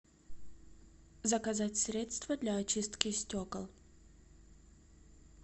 заказать средство для очистки стекол